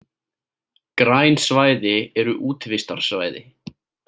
Græn svæði eru útivistarsvæði.